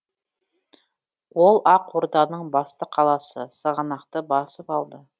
ол ақ орданың басты қаласы сығанақты басып алды